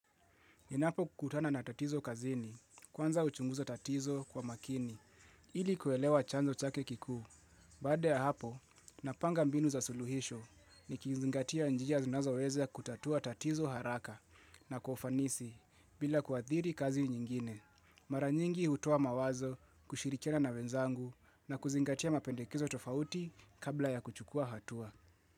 Ninapokutana na tatizo kazini, kwanza huchunguza tatizo kwa makini, ili kuelewa chanzo chake kikuu. Badaa ya hapo, napanga mbinu za suluhisho nikizingatia njia zinazoweza kutatua tatizo haraka na kufanisi bila kuathiri kazi nyingine. Mara nyingi hutoa mawazo kushirikiana na wenzangu na kuzingatia mapendekezo tofauti kabla ya kuchukua hatua.